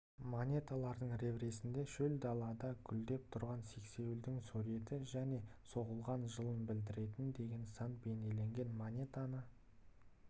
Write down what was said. монеталардың реверсінде шөл далада гүлдеп тұрған сексеуілдің суреті және соғылған жылын білдіретін деген сан бейнеленген монетаны